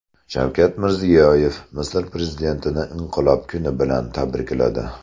Shavkat Mirziyoyev Misr prezidentini Inqilob kuni bilan tabrikladi.